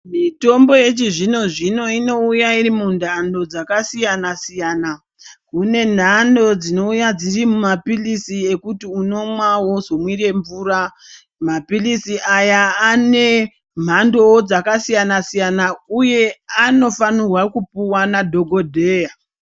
Mitombo yechizvino-zvino inouya iri munhano dzakasiyana -siyana . Kune nhano dzinouya dziri mumapilisi ekuti unomwa wozomwire mvura. Mapilisi aya ane mhandowo dzakasiyana -siyana uye anofanirwa kupuwa nadhokodheya.